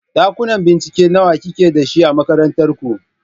Ɗakuna bincike nawa kike dashi a makarantar ku?